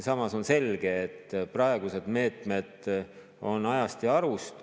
Samas on selge, et praegused meetmed on ajast ja arust.